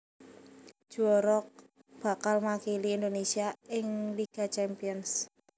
Juwara bakal makili Indonésia ing Liga Champions